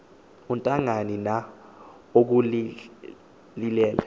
untangani na ukhulile